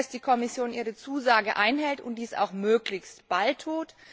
Ich hoffe, dass die Kommission ihre Zusage einhält und dies auch möglichst bald tut.